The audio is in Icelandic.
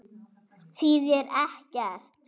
Þýðir ekkert.